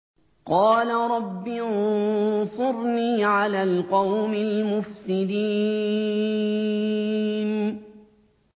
قَالَ رَبِّ انصُرْنِي عَلَى الْقَوْمِ الْمُفْسِدِينَ